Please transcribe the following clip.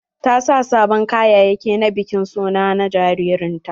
Ta sa sabon kayayaki na bikin suna na jaririn ta.